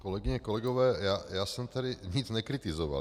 Kolegyně, kolegové, já jsem tady nic nekritizoval.